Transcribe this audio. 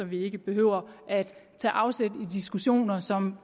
vi ikke behøver at tage afsæt i diskussioner som